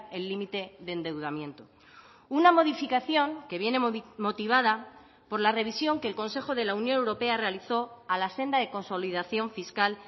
el límite de endeudamiento una modificación que viene motivada por la revisión que el consejo de la unión europea realizó a la senda de consolidación fiscal